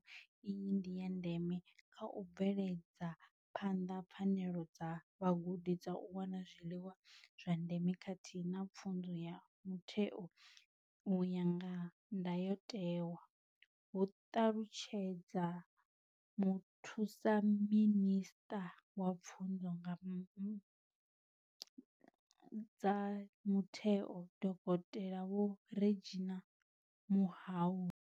Mbekanyamushumo iyi ndi ya ndeme kha u bveledza phanḓa pfanelo dza vhagudi dza u wana zwiḽiwa zwa ndeme khathihi na pfunzo ya mutheo u ya nga ndayotewa, hu ṱalutshedza Muthusaminisṱa wa Pfunzo dza Mutheo, Dokotela Vho Reginah Mhaule.